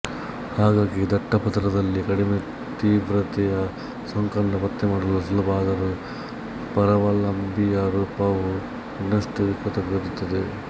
ಹಾಗಾಗಿ ದಟ್ಟ ಪದರದಲ್ಲಿ ಕಡಿಮೆ ತೀವ್ರತೆಯ ಸೋಂಕನ್ನು ಪತ್ತೆ ಮಾಡಲು ಸುಲಭ ಆದರೂ ಪರಾವಲಂಬಿಯ ರೂಪವು ಇನ್ನಷ್ಟು ವಿಕೃತವಾಗಿರುತ್ತದೆ